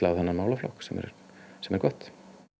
á þennan málaflokk sem er sem er gott